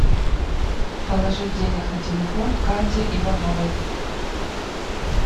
положить денег на телефон кате ивановой